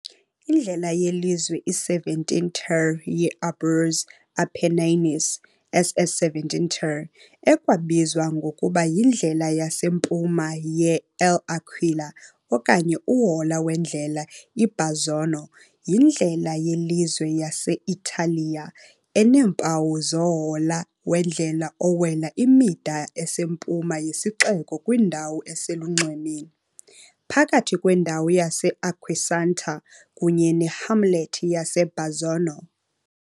Indlela yelizwe i-17 ter ye-Abruzzo Apennines, SS 17 ter, ekwabizwa ngokuba yindlela yasempuma ye-L'Aquila okanye uhola wendlela i-Bazzano, yindlela yelizwe yase -Italiya eneempawu zohola wendlela owela imida esempuma yesixeko kwindawo eselunxwemeni. phakathi kwendawo yase-Acquasanta kunye ne-hamlet yase- Bazzano.